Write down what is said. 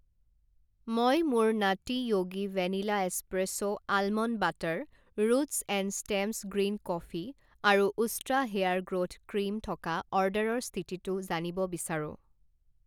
মই মোৰ Nutty Yogi vanilla espresso almond butter, roots and stems green coffee আৰু উষ্ট্ৰা হেয়াৰ গ্ৰ'থ ক্ৰীম থকা অৰ্ডাৰৰ স্থিতিটো জানিব বিচাৰোঁ।